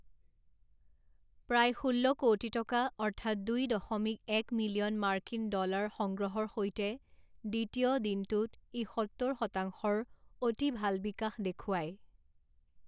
প্ৰায় ষোল্ল কৌটি টকা অৰ্থাৎ দুই দশমিক এক মিলিয়ন মাৰ্কিন ডলাৰ সংগ্ৰহৰ সৈতে দ্বিতীয় দিনটোত ই সত্তৰ শতাংশৰ অতি ভাল বিকাশ দেখুৱাই।